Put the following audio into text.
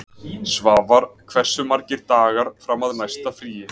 Svavar, hversu margir dagar fram að næsta fríi?